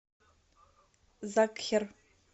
закхер